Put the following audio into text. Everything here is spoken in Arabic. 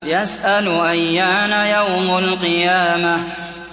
يَسْأَلُ أَيَّانَ يَوْمُ الْقِيَامَةِ